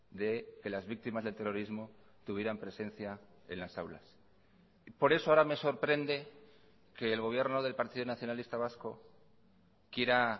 de que las víctimas del terrorismo tuvieran presencia en las aulas por eso ahora me sorprende que el gobierno del partido nacionalista vasco quiera